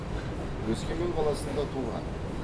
өскемен қаласында туған